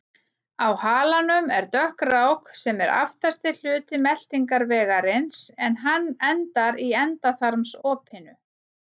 Á halanum er dökk rák sem er aftasti hluti meltingarvegarins, en hann endar í endaþarmsopinu.